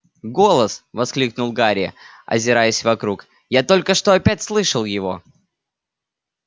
голос воскликнул гарри озираясь вокруг я только что опять слышал его